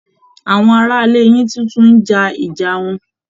Àwọn ará ilé yín tún ti ń jà ìjà wọn